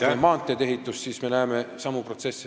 Vaatame maanteede ehitust, me näeme sealgi samu protsesse.